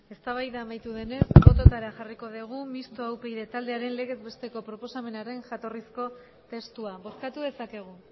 eztabaida amaitu denez bototara jarriko dugu mistoa upyd taldearen legez besteko proposamenaren jatorrizko testua bozkatu dezakegu